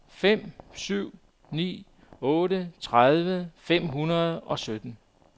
fem syv ni otte tredive fem hundrede og sytten